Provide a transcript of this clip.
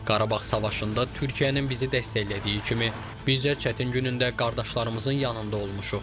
Qarabağ müharibəsində Türkiyənin bizi dəstəklədiyi kimi, biz də çətin günündə qardaşlarımızın yanında olmuşuq.